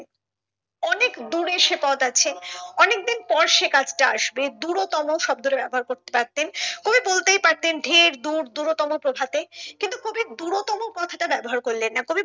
অনেক দূরে সে পথ আছে অনেকদিন পর সে কাজটা আসবে দূরতম শব্দটা ব্যবহার করতে পারতেন কবি বলতেই পারতেন ঢের দূর দূরতম প্রভাতে কিন্তু কবি দূরতম কথা টা ব্যাবহার করলেন না